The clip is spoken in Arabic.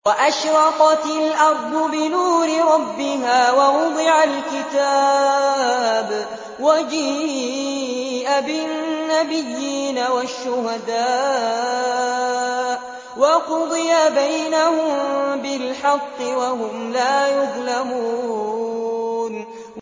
وَأَشْرَقَتِ الْأَرْضُ بِنُورِ رَبِّهَا وَوُضِعَ الْكِتَابُ وَجِيءَ بِالنَّبِيِّينَ وَالشُّهَدَاءِ وَقُضِيَ بَيْنَهُم بِالْحَقِّ وَهُمْ لَا يُظْلَمُونَ